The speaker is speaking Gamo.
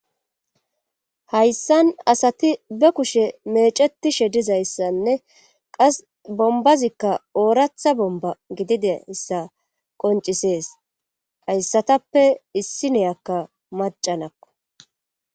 Hayssan asati be kushe mecetishe dizayssanne qas bombazikka ooratha bomba gidide issa qoncisees hayssatappe issi neyakka macanakko.